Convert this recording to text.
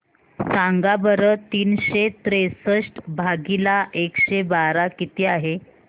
सांगा बरं तीनशे त्रेसष्ट भागीला एकशे बारा किती आहे